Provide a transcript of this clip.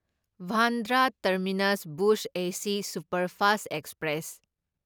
Bandra terminus Bhuj S superfast express